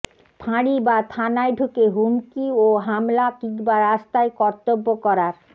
ফাঁড়ি বা থানায় ঢুকে হুমকি ও হামলা কিংবা রাস্তায় কর্তব্য করার